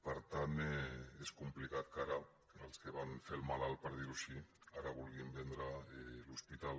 per tant és complicat que els que van fer el malalt per dir ho així ara vulguin vendre l’hospital